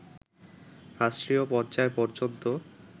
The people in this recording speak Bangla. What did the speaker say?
রাষ্ট্রীয় পর্যায় পর্যন্ত